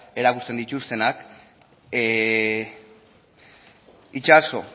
erakusten dituztenak itxaso